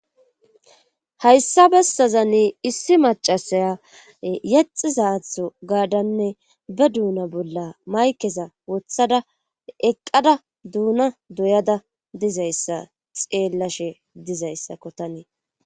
Hayssa bessazani issi macasaya yaxizaatho gaadanne be duuna bolla maykeza wothada eqqada duuna doyada dizayssa xeellashe dizayssa ko tanii.